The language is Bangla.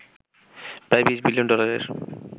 প্রায় ২০ বিলিয়ন ডলারের